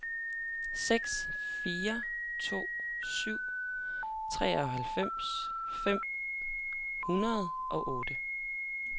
seks fire to syv treoghalvfems fem hundrede og otte